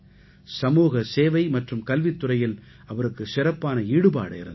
சமூக சேவை மற்றும் கல்வித்துறையில் அவருக்கு சிறப்பான ஈடுபாடு இருந்தது